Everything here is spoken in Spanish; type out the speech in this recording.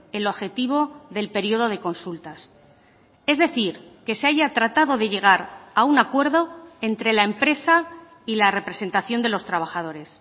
el objetivo del periodo de consultas es decir que se haya tratado de llegar a un acuerdo entre la empresa y la representación de los trabajadores